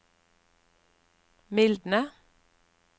mildne